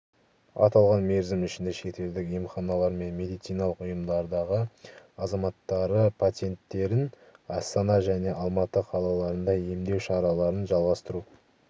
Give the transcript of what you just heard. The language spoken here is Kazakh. аталған мерзім ішінде шетелдік емханалар мен медициналық ұйымдардағы азаматтары-пациенттерін астана және алматы қалаларына емдеу шараларын жалғастыру